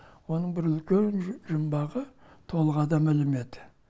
оның бір үлкен жұмбағы толық адам ілімі еді